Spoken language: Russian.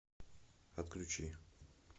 отключи